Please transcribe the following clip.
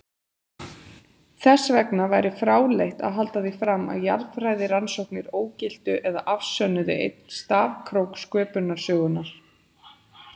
Þessvegna væri fráleitt að halda því fram að jarðfræðirannsóknir ógiltu eða afsönnuðu einn stafkrók sköpunarsögunnar.